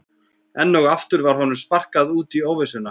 Enn og aftur var honum sparkað út í óvissuna.